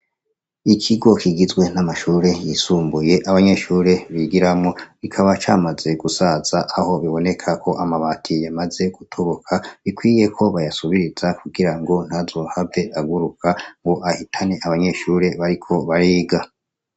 Ikigo kigizwe namashure yisumbuye nabanyeshure bigiramwo kikaba camaze gusaza aho bibonekako amabati yamaze gutoboka bikwiyeko bayasubiriza kugirango ntazohave aguruka abanyeshure bariko bariga